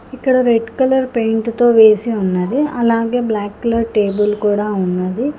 ఇక్కడ red colour paint తో వేసి ఉన్నది అలాగే బ్లాక్ కలర్ టేబుల్ కూడా ఉన్నది.